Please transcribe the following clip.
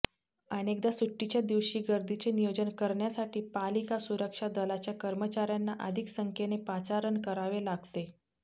अनेकदा सुट्टीच्या दिवशी गर्दीचे नियोजन करण्यासाठी पालिका सुरक्षा दलाच्या कर्मचाऱ्यांना अधिक संख्येने पाचारण करावे लागते